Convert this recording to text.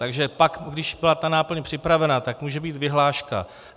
Takže pak, když byla ta náplň připravena, tak může být vyhláška.